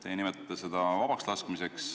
Teie nimetate seda vabaks laskmiseks.